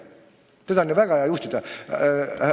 Teda on väga hea juhtida!